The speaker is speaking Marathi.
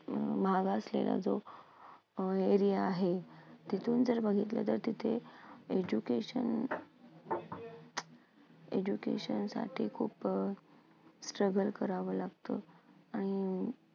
महाग असलेला जो अ area आहे, तिथून जर बघितलं तर तिथे education education साठी खूप अं करावं लागतं.